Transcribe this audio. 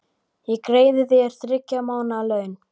Ég greiði þér þriggja mánaða laun.